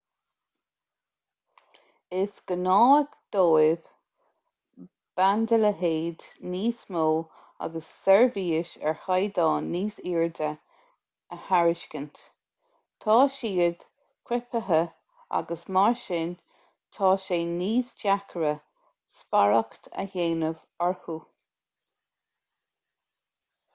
is gnách dóibh bandaleithead níos mó agus seirbhís ar chaighdeán níos airde a thairiscint tá siad criptithe agus mar sin tá sé níos deacra spiaireacht a dhéanamh orthu